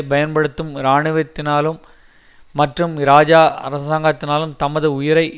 பயன்படுத்தும் இராணுவத்தினாலும் மற்றும் இராஜா அரசாங்கத்தினாலும் தமது உயிரை